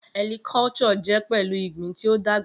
Helicculture jẹ pẹlu igbin ti o dagba.